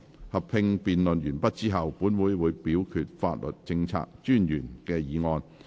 合併辯論完畢後，本會會表決法律政策專員的議案。